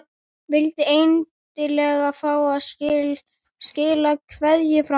Vildi endilega fá að skila kveðju frá mér.